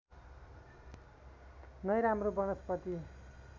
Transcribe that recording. नै राम्रो वनस्पति